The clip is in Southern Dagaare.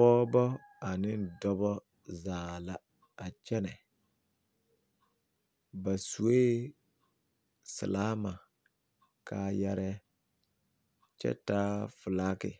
Pɔɔbɔ ane dɔbɔ zaa la a kyɛnɛ ba sue silaama kaayarɛɛ kyɛ taa felaake